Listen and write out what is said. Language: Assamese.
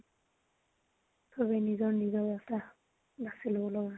চবে নিজৰ নিজৰ ৰাস্তা বাচি লব লগা হয়।